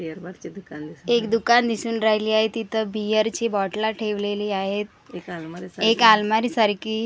एक दुकान दिसून राहील आहे तिथ बीअर च्या बोटला ठेवलेली आहेत एक अलमारी सारखी .